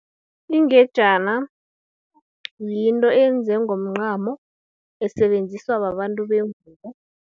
Ingejana, yinto eyenzwe ngomncamo, esebenziswa babantu bengubo.